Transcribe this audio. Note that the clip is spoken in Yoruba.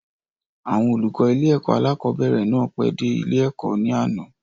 Àwọn olùkọ́ ilé-ẹ̀kọ́ alákọ̀ọ́bẹ̀rẹ̀ náà pẹ́ dé ilé-ẹ̀kọ́ ní àná.